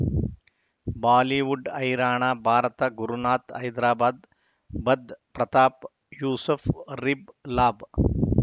Bollywood ಹೈರಾಣ ಭಾರತ ಗುರುನಾಥ್ ಹೈದರಾಬಾದ್ ಬಧ್ ಪ್ರತಾಪ್ ಯೂಸುಫ್ ರಿಬ್ ಲಾಭ